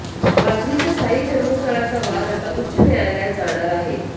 पाथरीच्या साई जन्मस्थळाचा वाद आता उच्च न्यायालयात जाणार आहे